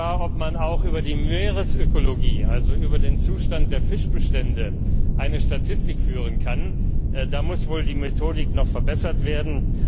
Streitig war, ob man auch über die Meeresökologie, also über den Zustand der Fischbestände eine Statistik führen kann. Da muss wohl die Methodik noch verbessert werden.